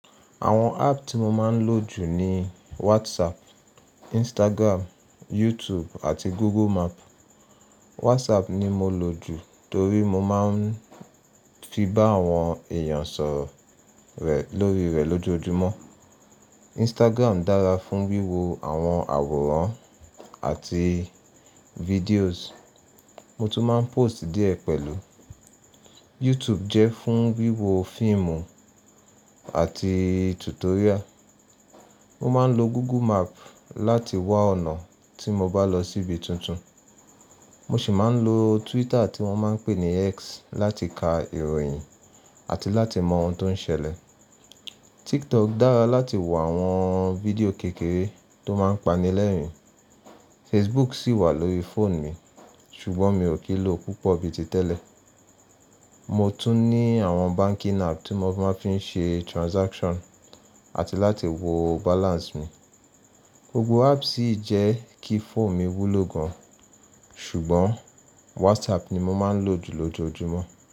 Àwọn app tí mo máa ń lò jù ni WhatsApp, Instagram, YouTube àti Google Map. WhatsApp ni mo lò jù torí mo máa ń fi bá àwọn èèyàn sọ̀rọ̀ rẹ̀ lórí rẹ̀ lójoojúmọ́. Instagram dára fún wíwo àwọn àwòrán àti videos. Mo tún máa ń post díẹ̀ pẹ̀lú. YouTube jẹ́ fún wíwo fíìmù àti tutorial. Mo máa ń lo Google Map láti wá ọ̀nà tí mo bá lọ síbi tuntun. Mo sì máa ń lo Twitter tí wọ́n máa ń pè ní X láti ka ìròyìn àti láti mọ ohun tó ń ṣẹlẹ̀. TikTok dára láti wò àwọn fídíò kékeré tó máa ń pani lẹ́rìn-ín. Facebook sì wà lórí phone mi, ṣùgbọ́n mi ò kí ń lò púpọ̀ bíi ti tẹ́lẹ̀. Mo tún ní àwọn banking app tí mo fi máa ń ṣe transaction àti láti wo balance mi. Gbogbo apps yì jẹ́ kí phone mi wúlo gan-an, ṣùgbọ́n WhatsApp ni mo máa ń lò jù lójoojúmọ́